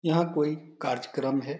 यहाँ कोई कार्जकरम है।